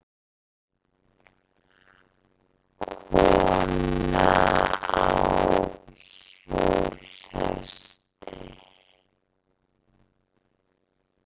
Kona á hjólhesti?